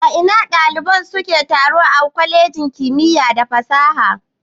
A ina ɗalibai suke taro a kwalejin kimiya da fasaha.